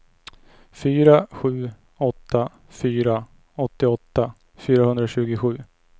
fyra sju åtta fyra åttioåtta fyrahundratjugosju